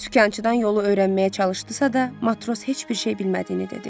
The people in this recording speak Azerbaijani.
Sükançıdan yolu öyrənməyə çalışdısa da, matros heç bir şey bilmədiyini dedi.